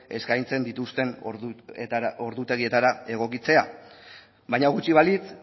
eskaintzen dituzten ordutegietara egokitzea baina gutxi balitz